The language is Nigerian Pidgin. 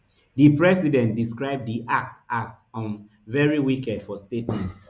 di president describe di act as um very wicked for statement